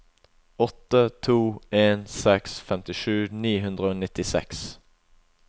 åtte to en seks femtisju ni hundre og nittiseks